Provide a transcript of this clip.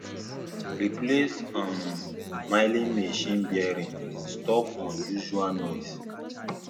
replace um milling machine bearings stop unusual noise